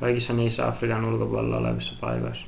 kaikissa niissä afrikan ulkopuolella olevissa paikoissa